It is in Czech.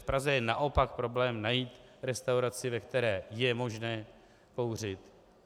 V Praze je naopak problém najít restauraci, ve které je možné kouřit.